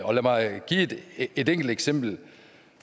og lad mig give et enkelt eksempel